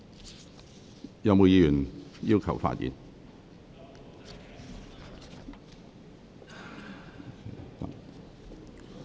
是否有議員想發言？